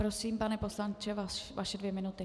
Prosím, pane poslanče, vaše dvě minuty.